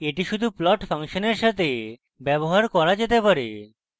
এটি শুধু plot ফাংশনের সাথে ব্যবহার করা যেতে পারে